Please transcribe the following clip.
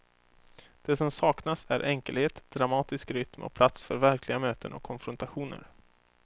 Det som saknas är enkelhet, dramatisk rytm och plats för verkliga möten och konfrontationer.